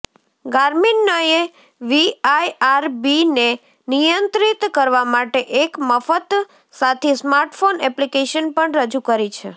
ગાર્મિનએ વીઆઇઆરબીને નિયંત્રિત કરવા માટે એક મફત સાથી સ્માર્ટફોન એપ્લિકેશન પણ રજૂ કરી છે